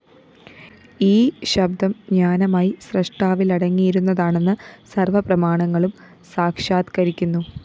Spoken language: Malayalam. ഈ ശബ്ദം ജ്ഞാനമായി സ്രഷ്ടാവിലടങ്ങിയിരുന്നതാണെന്ന് സര്‍വ്വപ്രമാണങ്ങളും സാക്ഷാത്ക്കരിക്കുന്നു